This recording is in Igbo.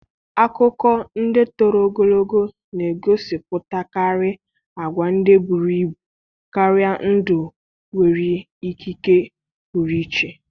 Akụkọ ndị toro ogologo na-egosipụtakarị agwa ndị buru ibu karịa ndụ nwere ikike pụrụ iche.